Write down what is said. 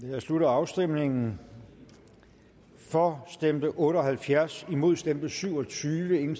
nu jeg slutter afstemningen for stemte otte og halvfjerds imod stemte syv og tyve